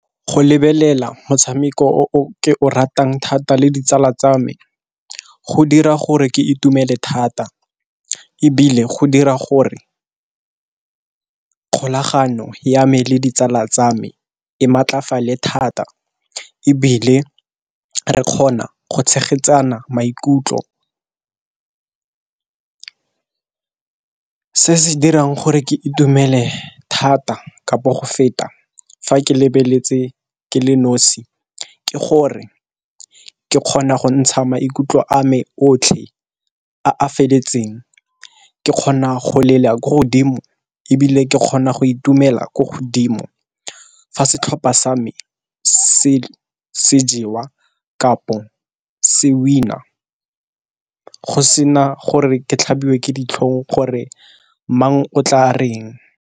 Go lebelela motshameko o o ke o ratang thata le ditsala tsa me go dira gore ke itumele thata, ebile go dira gore kgolagano ya me le ditsala tsa me e maatlafale thata, ebile re kgona go tshegetsana maikutlo. Se se dirang gore ke itumele thata kapo go feta fa ke lebeletse ke le nosi ke gore ke kgona go ntsha maikutlo a me otlhe a feletseng, ke kgona go lela ko godimo, ebile ke kgona go itumela ko godimo, fa setlhopha sa me se jewa kapo se winner go sena gore ke tlhabiwe ke ditlhong gore mang o tla reng.